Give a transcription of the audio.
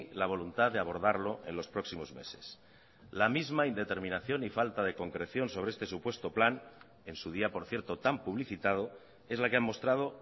la voluntad de abordarlo en los próximos meses la misma indeterminación y falta de concreción sobre este supuesto plan en su día por cierto tan publicitado es la que ha mostrado